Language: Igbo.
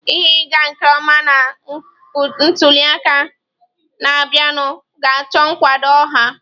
Ihe ịga nke ọma na ntuli aka na-abịanụ ga-achọ nkwado ọha